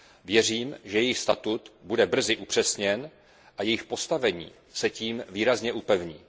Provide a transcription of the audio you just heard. Věřím, že jejich statut bude brzy upřesněn a jejich postavení se tím výrazně upevní.